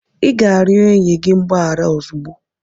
Ị ga-arịọ enyi gị mgbaghara ozugbo!